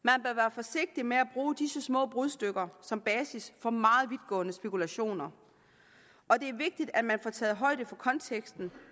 forsigtig med at bruge disse små brudstykker som basis for meget vidtgående spekulationer og det er vigtigt at man får taget højde for konteksten